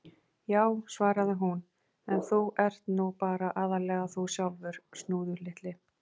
Já, svarar hún: En þú ert nú bara aðallega þú sjálfur, Snúður litli.